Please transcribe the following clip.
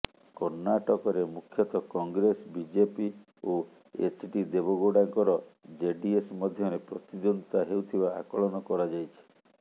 କର୍ଣ୍ଣାଟକରେ ମୁଖ୍ୟତଃ କଂଗ୍ରେସ ବିଜେପି ଓ ଏଚ୍ଡି ଦେବଗୌଡାଙ୍କର ଜେଡିଏସ୍ ମଧ୍ୟରେ ପ୍ରତିଦ୍ୱନ୍ଦ୍ୱିତା ହେଉଥିବା ଆକଳନ କରାଯାଇଛି